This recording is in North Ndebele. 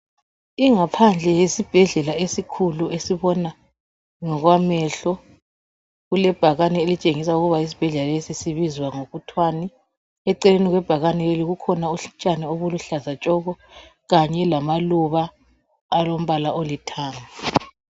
Ingaphandle yisibhedlela esikhulu esibona ngokwamehlo kulebhakane elitshengisa ukuthi isibhedlela lesi sibizwa ngokuthwani. Eceleni kwebhakane leli kukhona utshani obuluhlaza tshoko kanye lamaluba alombala olithanga.